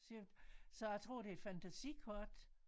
Sea of så jeg tror det er et fantasikort